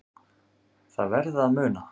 Það verði að muna